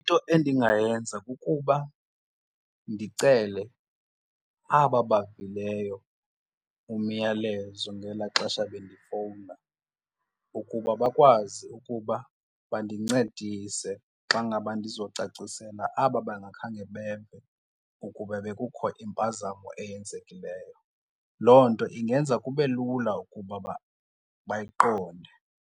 Into endingayenza kukuba ndicele aba bavileyo umyalezo ngelaa xesha bendifowuna ukuba bakwazi ukuba bandincedise xa ngaba ndizocacisela aba bangakhange beve ukuba bekukho impazamo eyenzekileyo. Loo nto ingenza kube lula ukuba bayiqonde.